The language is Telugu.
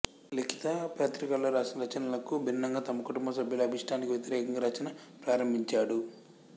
లిఖిత పత్రికలో రాసిన రచనలకు భిన్నంగా తమ కుటుంబ సభ్యుల అభీష్టానికి వ్యతిరేకంగా రచన ప్రారంభించాడు